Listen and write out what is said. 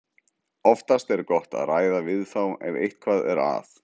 Oftast er gott að ræða við þá ef eitthvað er að.